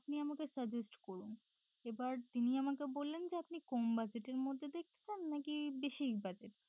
আপনি আমাকে suggest করুন এবার তিনি আমাকে বললেন যে আপনি কম budget র মধ্যে দেখতে চান নাকি বেশি budget